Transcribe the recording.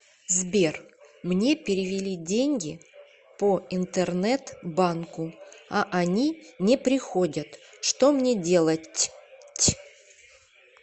сбер мне перевели деньги по интернет банку а они не приходят что мне делать ть